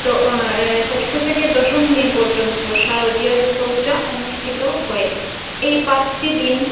উম ষষ্ঠ থেকে দশম দিন পর্যন্ত শারদীয়া দূর্গা পূজা অনুষ্ঠিত হয় এই পাঁচটি দিন।